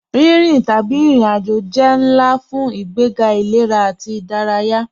Rínrín tabí irin-ájò jẹ́ nlá fun ìgbègá ilẹ̀rà ati ìdáràyà.